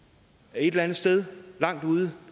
et eller andet sted langt ude